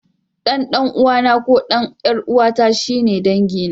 Ɗan ɗan'uwana ko ɗan ƴar'uwata shi ne dangina.